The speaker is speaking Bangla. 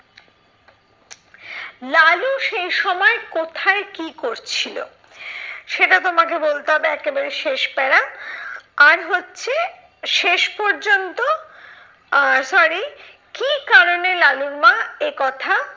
লালু সেই সময় কোথায় কি করছিলো? সেটা তোমাকে বলতে হবে একেবারে শেষ para আর হচ্ছে শেষ পর্যন্ত আহ sorry কি কারণে লালুর মা একথা